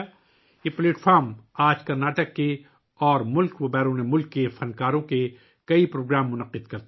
یہ platform آج کرناٹک اور بھارت اور بیرون ملک سے فنکاروں کے بہت سے پروگرام منعقد کرتا ہے